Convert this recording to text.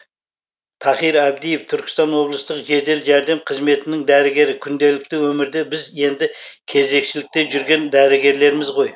тахир әбдиев түркістан облыстық жедел жәрдем қызметінің дәрігері күнделікті өмірде біз енді кезекшілікте жүрген дәрігерлерміз ғой